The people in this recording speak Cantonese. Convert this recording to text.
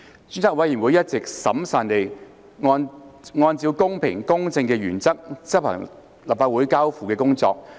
專責委員會一直審慎地按照公平、公正的原則執行立法會交付的工作。